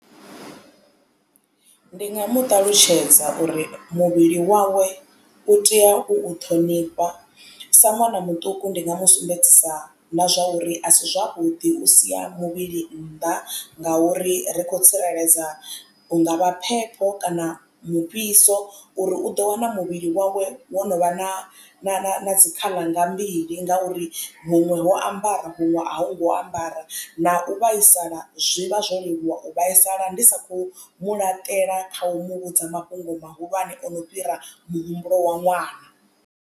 Ndi nga mu ṱalutshedza uri muvhili wawe u tea u u ṱhonifha sa ṅwana muṱuku ndi nga mu sumbedzisa na zwa uri asi zwavhuḓi u sia muvhili nnḓa ngauri ri khou tsireledza hungavha phepho kana mufhiso uri u ḓo wana muvhili wawe wo no vha na na dzi khaḽa nga mbili ngauri muṅwe wo ambara vhuṅwe a u ngo ambara na u vhaisala zwi vha zwo leluwa u vhaisala ndi sa khou mu laṱela kha u muvhudza mafhungo mahulwane ono fhira muhumbulo wa ṅwaha.